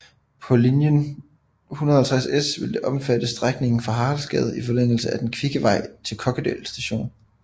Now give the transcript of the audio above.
På linje 150S vil det omfatte strækningen fra Haraldsgade i forlængelse af Den kvikke vej til Kokkedal st